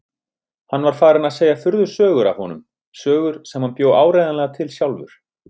Hann var farinn að segja furðusögur af honum, sögur sem hann bjó áreiðanlega til sjálfur.